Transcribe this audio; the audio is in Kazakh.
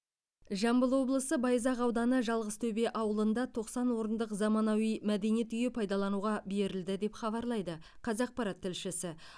жамбыл облысы байзақ ауданы жалғызтөбе ауылында тоқсан орындық заманауи мәдениет үйі пайдалануға берілді деп хабарлайды қазақпарат тілшісі